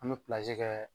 An bɛ kɛ